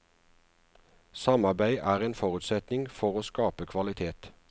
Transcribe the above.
Samarbeid er en forutsetning for å skape kvalitet.